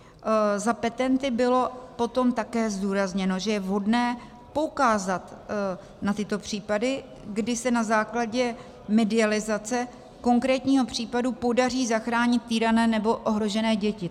Za petenty bylo potom také zdůrazněno, že je vhodné poukázat na tyto případy, kdy se na základě medializace konkrétního případu podaří zachránit týrané nebo ohrožené děti.